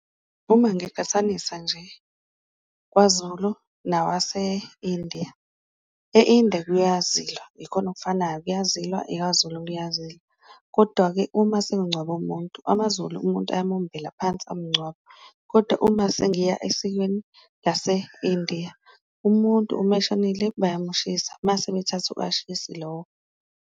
Uma ngiqhathanisa nje kwaZulu nawase-India, e-India kuyazilwa ikhona okufanayo kuyazilwa, ikwaZulu kuyazilwa, kodwa-ke uma sekungcwaba umuntu amaZulu umuntu ayamumbela phansi amungcwabe. Kodwa uma sengiya esikweni lase-India umuntu uma eshonile bayamushisa, mase bethatha lowo.